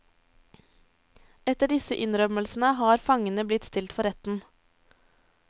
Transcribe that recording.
Etter disse innrømmelsene har fangene blitt stilt for retten.